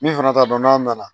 Min fana t'a dɔn n'a nana